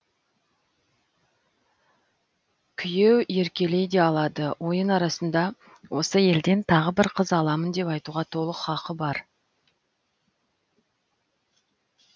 күйеу еркелей де алады ойын арасында осы елден тағы бір қыз аламын деп айтуға толық хақы бар